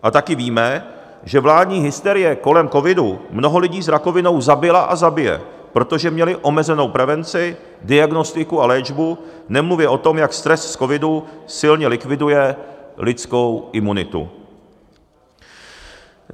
A taky víme, že vládní hysterie kolem covidu mnoho lidí s rakovinou zabila a zabije, protože měli omezenou prevenci, diagnostiku a léčbu, nemluvě o tom, jak stres z covidu silně likviduje lidskou imunitu.